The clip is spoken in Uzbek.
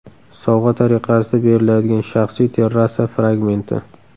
Sovg‘a tariqasida beriladigan shaxsiy terrasa fragmenti.